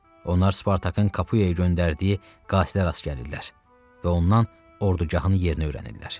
Onlar Spartakın Kapuyaya göndərdiyi qasidlərə rast gəlirlər və ondan ordugahın yerini öyrənirlər.